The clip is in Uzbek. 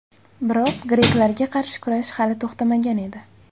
Biroq greklarga qarshi kurash hali to‘xtamagan edi.